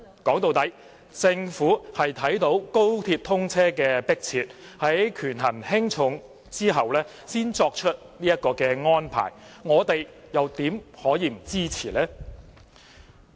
說到底，政府是因應高鐵通車的迫切性，在權衡輕重後才作出這項安排，我們又怎能不支持呢？